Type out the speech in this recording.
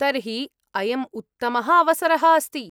तर्हि, अयम् उत्तमः अवसरः अस्ति।